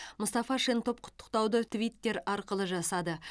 мұстафа шентоп құттықтауды твиттер арқылы жасады